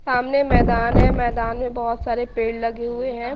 सामने मैदान है मैदान में बहोत सारे पेड़ लगे हुए है।